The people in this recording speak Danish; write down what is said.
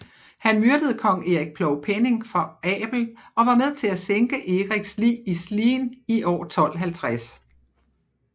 Han myrdede kong Erik Plovpenning for Abel og var med til at sænke Eriks lig i Slien i år 1250